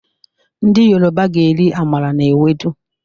Ndi Yoruba ga-eri amala na ewedu